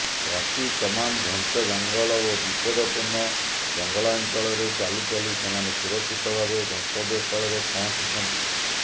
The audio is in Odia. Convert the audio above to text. ରାତି ତମାମ୍ ଘଞ୍ଚ ଜଙ୍ଗଲ ଓ ବିପଦପୂର୍ଣ୍ଣ ଜଙ୍ଗଲାଞ୍ଚଳରେ ଚାଲିଚାଲି ସେମାନେ ସୁରକ୍ଷିତ ଭାବେ ଗନ୍ତବ୍ୟସ୍ଥଳରେ ପହଞ୍ଚିଛନ୍ତି